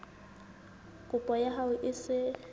kopo ya hao e se